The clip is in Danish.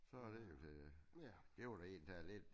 Så er den jo klaret. Det var i det hele taget lidt